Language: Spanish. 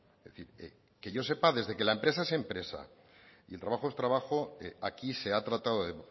es decir que yo sepa desde que la empresa es empresa y el trabajo es trabajo aquí se ha tratado de